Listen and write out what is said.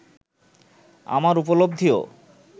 আমার উপলব্ধিও